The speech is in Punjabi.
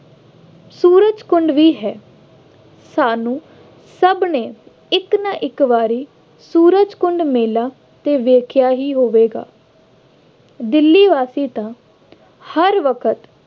ਸੂਰਜਕੁੰਡ ਵੀ ਹੈ, ਸਾਨੂੰ ਸਭ ਨੇ ਇੱਕ ਨਾ ਇੱਕ ਵਾਰੀ ਸੂਰਜਕੁੰਡ ਮੇਲਾ ਤੇ ਵੇਖਿਆ ਹੀ ਹੋਵੇਗਾ। ਦਿੱਲੀ ਵਾਸੀ ਤਾਂ ਹਰ ਵਕਤ